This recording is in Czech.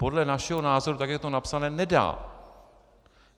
Podle našeho názoru, tak jak je to napsané, nedá!